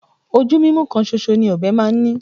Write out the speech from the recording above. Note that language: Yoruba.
Ojú mímú kan ṣoṣọ ni ọ̀bẹ máa ń ní